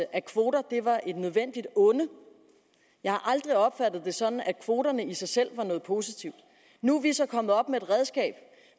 at kvoter var et nødvendigt onde jeg har aldrig opfattet det sådan at kvoterne i sig selv var noget positivt nu er vi så kommet op med et redskab